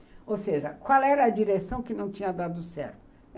Ou seja, qual era a direção que não tinha dado certo?